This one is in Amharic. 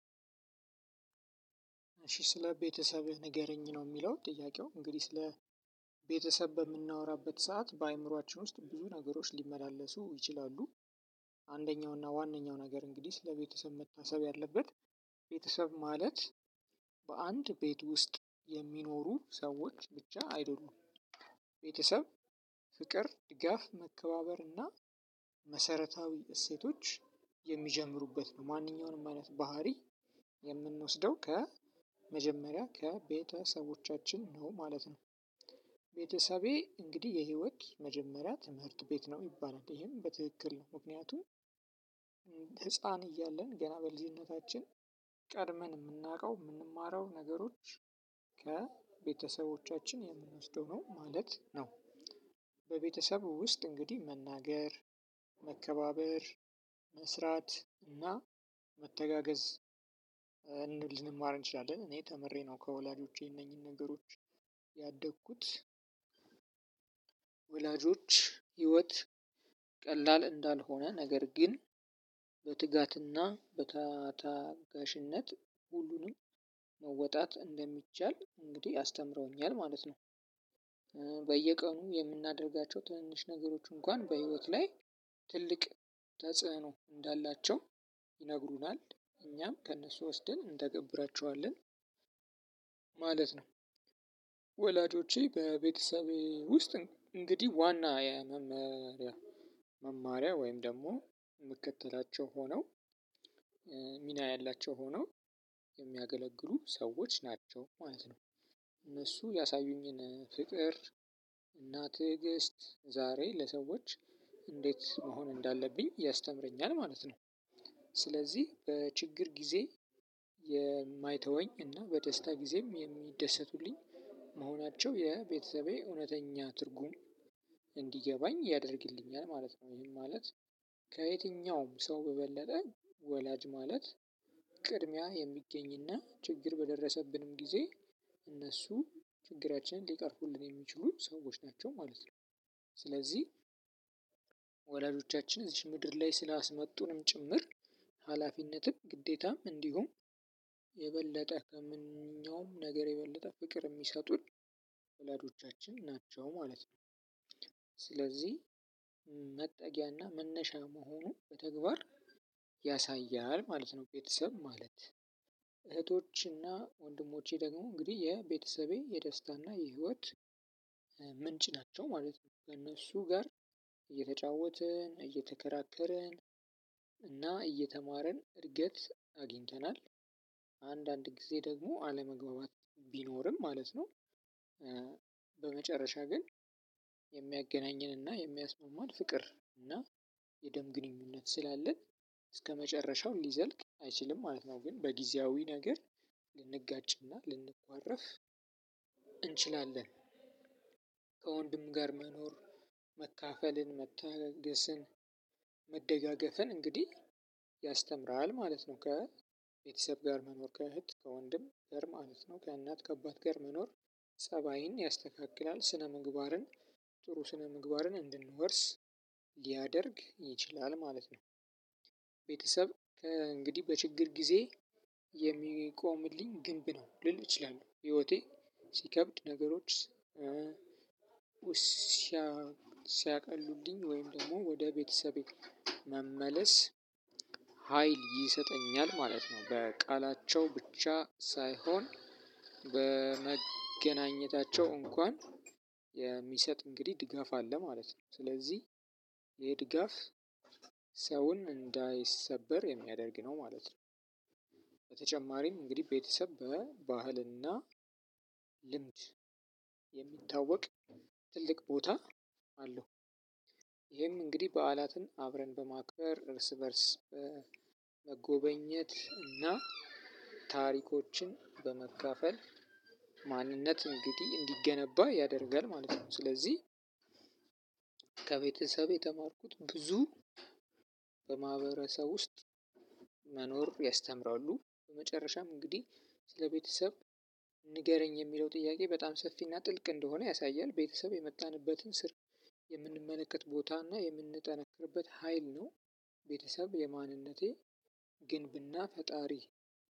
እሺ ስለ ቤተሰብህ ንገረኝ ነው የሚለው ጥያቄው እንግዲህ ስለ ቤተሰብ በምናወራበት ሰዓት በአእምሮአችን ውስጥ ብዙ ነገሮች ሊመላለሱ ይችላሉ። አንደኛው እና ዋናው ነገር እንግዲህ ስለቤተሰብ መታሰብ ያለበት ቤተሰብ ማለት በአንድ ቤት ውስጥ የሚኖሩ ሰዎች ብቻ አይደሉም። ቤተሰብ ፍቅር ድጋፍ መከባበር እና መሰረታዊ እሴቶች የሚጀምሩበት ነው። ማንኛውንም አይነት ባህሪ የምንወስደው ከመጀመሪያ ከቤተሰቦቻችን ነው ማለት ነው። ቤተሰቤ እንግዲህ የህይወት መጀመሪያ ትምህርት ቤት ነው ይባላል። ይሄም በትክክል ነው። ምክንያቱም ህፃን እያለን ገና በልጅነታችን ቀድመን የምናውቀው የምንማረው ነገሮች ከቤተሰቦቻችን የምንወስደው ነው ማለት ነው። በቤተሰብ ውስጥ እንግዲህ መናገር መከባበር መስራት እና መተጋገዝ ልንማር እንችላለን። እኔ ተምሬ ነው ከወላጆቼ እነኚን ነገሮች ያደኩት። ወላጆች ህይወት ቀላል እንዳልሆነ ነገር ግን በትጋት እና በታ ታጋሽነት ሁሉንም መወጣት እንደሚቻል አስተምረውኛል ማለት ነው። በየቀኑ የምናደርጋቸው ትንንሽ ነገሮች እንኳን በህይወት ላይ ትልቅ ተጽዕኖ እንዳላቸው ይነግሩናል እኛም ከእነሱ ወስደን እንተገብራቸዋለን። ማለት ነው። ወላጆቼ በቤተሰቤ ውስጥ እንግዲህ ዋና የመማሪያ መማሪያ ወይም ደግሞ ምከተላቸው ሆነው ሚና ያላቸው ሆነው የሚያገለግሉ ሰዎች ናቸው ማለት ነው። እነሱ ያሳዩኝን ፍቅር እና ትዕግስት ዛሬ ለሰዎች እንዴት መሆን እንዳለብኝ ያስተምረኛል ማለት ነው። ስለዚህ በችግር ጊዜ የማይተወኝ እና በደስታ ጊዜም የሚደሰቱልኝ መሆናቸው የቤተሰቤ እውነተኛ ትርጉም እንዲገባኝ ያደርግልኛል ማለት ነው። ይህም ማለት ከየትኛውም ሰው በበለጠ ወላጅ ማለት ቅድሚያ የሚገኝ እና ችግር በደረሰብንም ጊዜ እነሱ ችግራችንን ሊቀርፉልን የሚችሉ ሰዎች ናቸው ማለት ነው። ስለዚህ ወላጆቻችን እዚች ምድር ላይ ስልስመጡንም ጭምር ሃላፊነትን ግዴታም እንዲሁም የበለጠ ከማንኛውም ነገር የበለጠ ፍቅር የሚሰጡን ወላጆቻችን ናቸው ማለት ነው። ስለዚህ መጠጊያና መነሻ መሆኑ በተግባር ያሳያል ማለት ነው። ቤተሰብ ማለት እህቶችና ወንድሞቼ ደግሞ እንግዲህ የቤተሰቤ የደስታና የህይወት ምንጭ ናቸው ማለት ነው። ከእነሱ ጋር እየተጫወትን እየተከራከርን እና እየተማርን እድገት አግኝተናል። አንዳንድ ጊዜ ደግሞ አለመግባባት ቢኖርም ማለት ነው። በመጨረሻ ግን የሚያገናኘንና የሚያስማማን ፍቅር እና የደም ግንኙነት ስላለን እስከመጨረሻው ሊዘልቅ አይችልም ማለት ነው። ግን በጊዜያዊ ነገር ልንጋጭና ልንኳረፍ እንችላለን። ከወንድም ጋር መኖር መካፈልን መታገስን መደጋገፍን እንግዲህ ያስተምራል ማለት ነው። ከቤተሰብ ጋር መኖር ከእህት ከወንድም ጋር ማለት ነው። ከእናት ከአባት ጋር መኖር ጸባይን ያስተካክላል ስነ ምግባርን ጥሩ ስነ ምግባርን እንድንወርስ ሊያደርግ ይችላል ማለት ነው። ቤተሰብ እንግዲህ በችግር ጊዜ የሚቆምልኝ ግንብ ነው ልል እችላለሁ። ህይወቴ ሲከብድ ነገሮች ሲያቀሉልኝ ወይም ደግሞ ወደ ቤተሰቤ መመለስ ሀይል ይሰጠኛል ማለት ነው። በቃላቸው ብቻ ሳይሆን በመገናኘታቸው እንኳን የሚሰጥ እንግዲህ ድጋፍ አለ ማለት ነው። ስለዚህ ይሄ ድጋፍ ሰውን እንዳይሰበር የሚያደርግ ነው ማለት ነው። በተጨማሪም እንግዲህ ቤተሰብ በባህልና ልምድ የሚታወቅ ትልቅ ቦታ አለው። ይሄም እንግዲህ በዓላትን አብረን በማክበር እርስ በእርስ በመጎበኘት እና ታሪኮችን በመካፈል ማንነት እንግዲህ እንዲገነባ ያደርጋል ማለት ነው። ስለዚህ ከቤተሰቤ የተማርኩት ብዙ በማህበረሰብ ውስጥ መኖር ያስተምራሉ። በመጨረሻም እንግዲህ ስለቤተሰብ ንገረኝ የሚለው ጥያቄ በጣም ሰፊና ጥልቅ እንደሆነ ያሳያል። ቤተሰብ የመጣንበትን ስር የምንመለከት ቦታና የምንጠነክርበት ሀይል ነው። ቤተሰብ የማንነቴ ግንብና ፈጣሪ